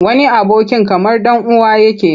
Wani abokin kamar ɗan uwa yake.